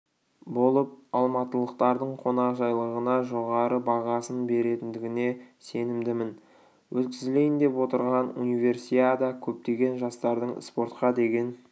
болып алматылықтардың қонақжайлығына жоғары бағасын беретіндігіне сенімдімін өткізілейін деп отырған универсиада көптеген жастардың спортқа деген